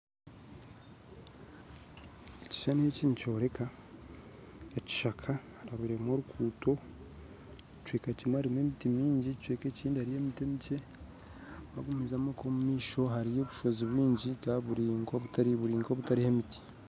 Ekishuushani eki nikyoreka ekishaka harabiremu oruguto ekicweka kimwe harimu emiti mingi ekicweka ekindi harimu emiti mikye wagumizamu okwe omumaisho hariyo obushoozi bwingi buri nka obutariho emiti